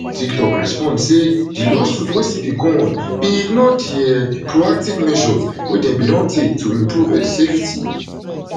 tiktok respond say di lawsuit wey still dey go on bin ignore di um proactive measures wey dem bin don take to improve um safety